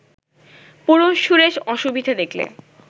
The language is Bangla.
পুরুষ-সুরেশ অসুবিধে দেখলে